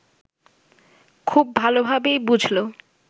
খুব ভালোভাবেই বুঝল